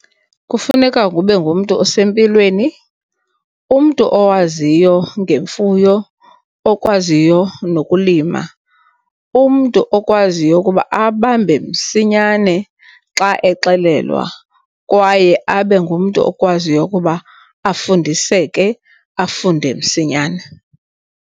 Kufuneka ube ngumntu osempilweni, umntu owaziyo ngemfuyo, okwaziyo nokulima. Umntu okwaziyo ukuba abambe msinyane xa exelelwa kwaye abe ngumntu okwaziyo ukuba afundiseke, afunde msinyana.